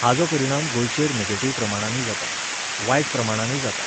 हाजो परिणाम गोंयचेर नेगेटिव्ह प्रमाणांनीय जाता, वायट प्रमाणानूय जाता.